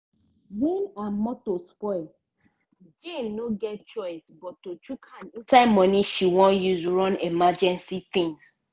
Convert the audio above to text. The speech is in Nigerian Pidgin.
when her motor spoli jane no get choice but to chuk hand inside money she won use run emergency tins